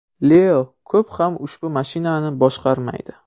Leo ko‘p ham ushbu mashinani boshqarmaydi.